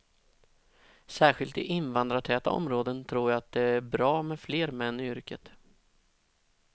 Särskilt i invandrartäta områden tror jag att det är bra med fler män i yrket.